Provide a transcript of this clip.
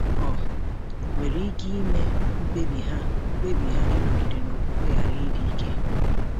ọ nwere ike ime ka mkpebi ha mkpebi ha ịnọgide na okwukwe ghara ịdị ike?